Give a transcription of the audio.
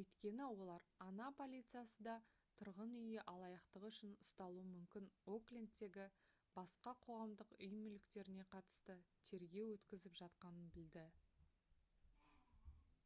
өйткені олар oha полициясы да тұрғын үй алаяқтығы үшін ұсталуы мүмкін оклендтегі басқа қоғамдық үй мүліктеріне қатысты тергеу өткізіп жатқанын білді